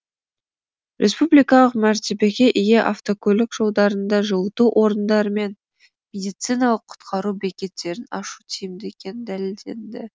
республикалық мәртебеге ие автокөлік жолдарында жылыту орындары мен медициналық құтқару бекеттерін ашу тиімді екені дәлелденді